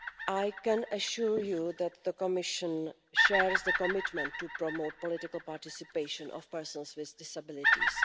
I can assure you that the Commission shares the commitment to promoting the political participation of people with disabilities.